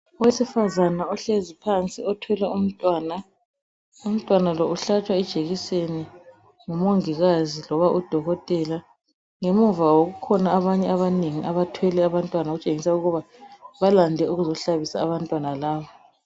Owesifazana ohlezi phansi othwele umntwana umntwana lo uhlatshwa ijekiseni ngumongikazi loba u dokotela ngemuva kwabo kukhona abanye abanengi abathwele abantwana okutshengisa ukuba balande ukuzohlabisa abantwana laba.